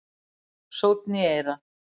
Sónn í eyra